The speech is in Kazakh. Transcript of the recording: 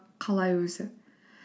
қалай өзі